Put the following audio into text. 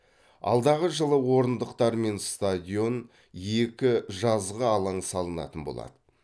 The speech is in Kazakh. алдағы жылы орындықтарымен стадион екі жазғы алаң салынатын болады